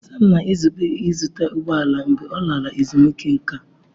Sam na-ezube ịzụta ụgbọ ala mgbe ọ lara ezumike nká.